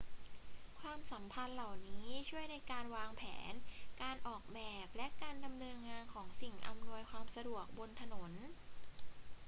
ความสัมพันธ์เหล่านี้ช่วยในการวางแผน การออกแบบ และการดำเนินงานของสิ่งอำนวยความสะดวกบนถนน